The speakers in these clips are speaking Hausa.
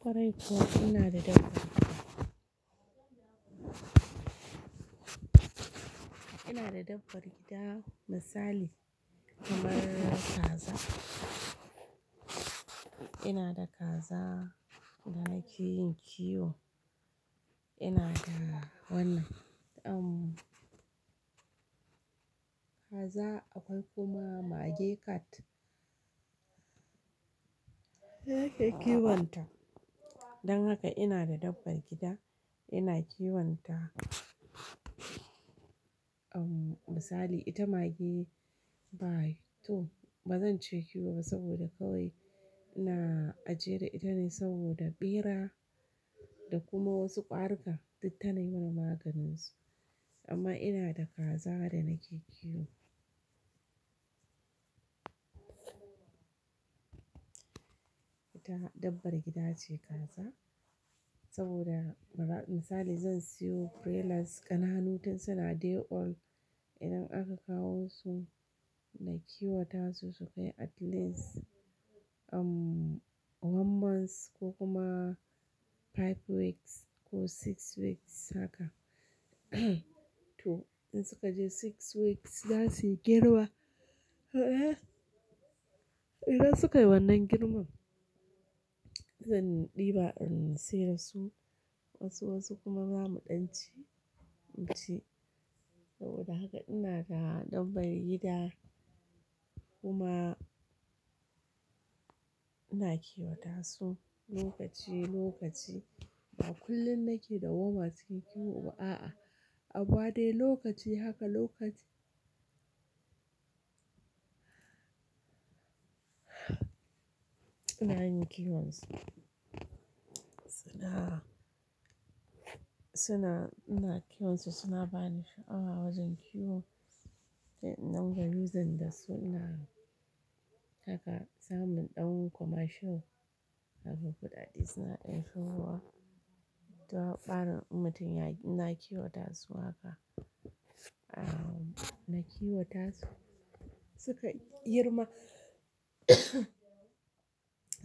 Kwarai kuwa ina da dabbbar gida, ina da dabbbar gida misali kamar kaza. Ina da kaza da nake yin kiwo. Ina da wannan, umm kaza akwai kuma mage cat. Dana ke kiwonta. Dan haka ina da dabbbar gida ina kiwonta umm misali ita mage ba to bazan ce kiwo ba saboda kawai ina ajiye da ita ne saboda ɓera da kuma wasu ƙarika duk ta nai mun maganin su. Amma ina da kaza da nake kiwo. Ita dabbar gida ce kaza saboda misali zan siyo broilers ƙananu tun suna day old idan aka kawo su na kiwata su su kai at least umm one month ko kuma five weeks ko six weeks haka to in suka je six weeks za su yi girma. Idan suka yi wannan girman zan ɗiba in sayar su wasu wasu kuma zamu ɗanci, mu ci. Saboda haka ina da dabbar gida kuma ina kiwata su lokaci lokaci ba kullum nake da dawwama cikin kiwo ba a'a. A amma dai lokaci haka lokaci ina yin kiwon su. Suna, suna ina kiwon su suna bani sha'awa wajen kiwo. Sai in dinga using dasu ina haka samun ɗan commercial kaga kuɗaɗe suna ɗan shigowa. Saura ɓarin in mutum ya ina kiwata su haka. Umm nakiwata su suka girma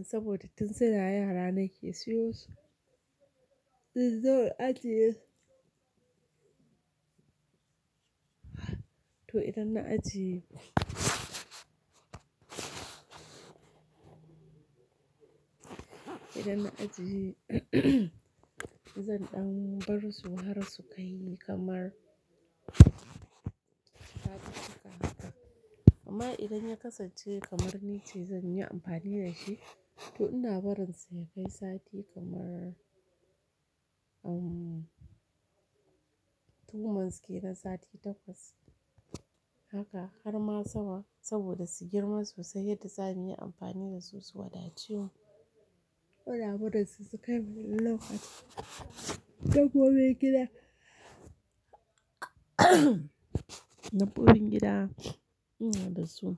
saboda tun suna yara nake siyo su. To idan na ajiye idan na ajiye zan ɗan bar su har su kai kamar sati amma idan ya kasance kamar ni ce zan yi amfani da shi to ina barin su ya kai sati kamar umm two months ke nan sati takwas haka har ma sama saboda su girma sosai yadda za mu yi amfani da su su wadace mu. Koda mu dasu su kai wani lokaci. Ɗabbobin gida dabbobin gida ina da su.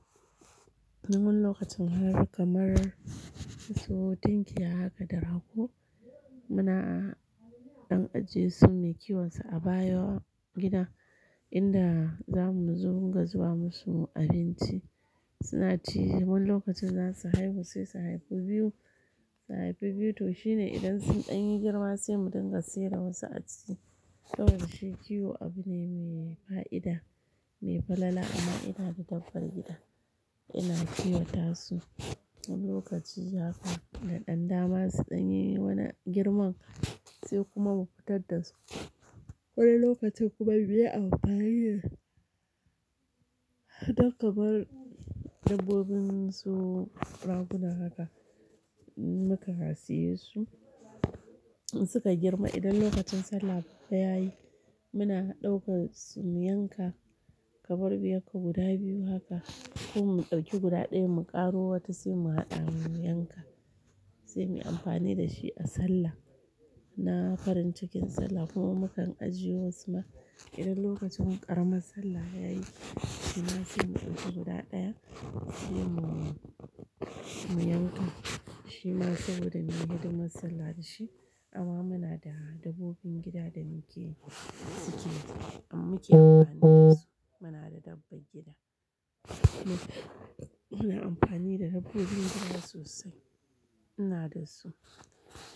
Wani lokacin har kamar in sawo tinkiya haka da rago. Muna a ɗan ajiye sun mai kiwon su a bayan gida inda zamu zo dinga zuba musu abinci. Suna ci mun lokacin za su haihu sai su haifu biyu, su haifu biyu to shine idan sun ɗan yi girma sai mu dinga saida wasu a ciki. Saboda shi kiwo abu ne mai fa'ida, mai falala amma ina da dabbbar gida. Ina kiwata su lokaci haka da ɗan dama su ɗan yi wannan girman sai kuma mu fitar da su. Wani lokacin kuma muyi amfani don kamar dabbobin su raguna haka muka saye su. In suka girma idan lokacin sallah babba yayi muna ɗauka su mu yanka kamar mu yanka guda biyu haka ko mu ɗauki guda ɗaya mu ƙaro wata sai mu haɗa mu yanka sai mu yi amfani da shi a sallah. Na farin cikin sallah kuma mukan ajiye wasu ma idan lokacin ƙaramar sallah yayi shi ma sai mu ɗauki guda ɗaya sai mu, mu yanka. Shi ma saboda mu yi hidimar sallah da shi. Amma muna da dabbobin gida da muke, muke muke amfani da su. Muna da dabbar gida. Muna amfani da dabbobin gida sosai. Ina da su.